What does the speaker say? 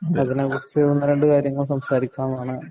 അതിനെക്കുറിച്ച്‌ ഒന്ന് രണ്ടു കാര്യങ്ങള്‍ സംസാരിക്കാനാണ്